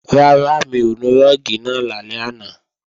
Rárá, mi ò nu rúùgì náà lálẹ́ àná